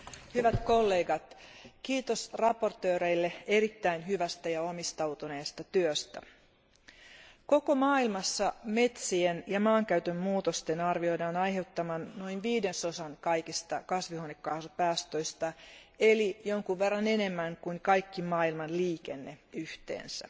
Arvoisa puhemies, hyvät kollegat, kiitos esittelijöille erittäin hyvästä ja omistautuneesta työstä. Koko maailmassa metsien ja maankäytön muutosten arvioidaan aiheuttavan noin viidesosan kaikista kasvihuonekaasupäästöistä eli jonkun verran enemmän kuin kaikki maailman liikenne yhteensä.